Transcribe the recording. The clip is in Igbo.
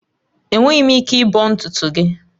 Enweghị m ike ịbọ ntutu gị